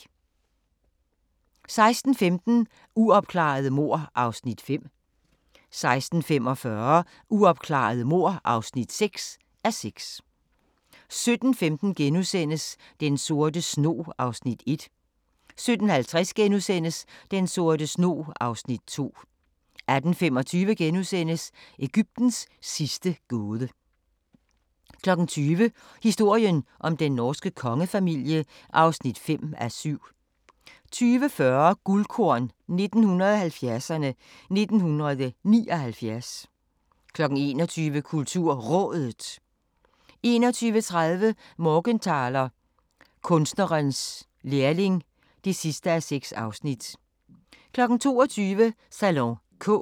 16:15: Uopklarede mord (5:6) 16:45: Uopklarede mord (6:6) 17:15: Den sorte snog (Afs. 1)* 17:50: Den sorte snog (Afs. 2)* 18:25: Egyptens sidste gåde * 20:00: Historien om den norske kongefamilie (5:7) 20:40: Guldkorn 1970'erne: 1979 21:00: KulturRådet 21:30: Morgenthaler: Kunstnerens lærling (6:6) 22:00: Salon K